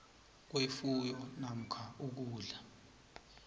kwefuyo namkha ukudla